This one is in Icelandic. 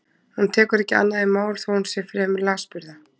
Hún tekur ekki annað í mál þó að hún sé fremur lasburða.